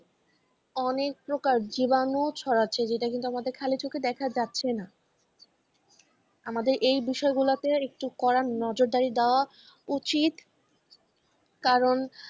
অনেক প্রকার জীবাণু ছড়াচ্ছে যেটাকে কিন্তু আমাদের খালি চোখে দেখা যাচ্ছে না আমাদের এই বিষয়গুলোতে একটু কড়া নজরদারি দেওয়া উচিত কারণ